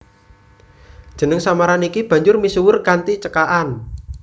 Jeneng samaran iki banjur misuwur kanthi cekakan